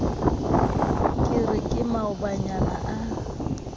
ke re ke maobanyana a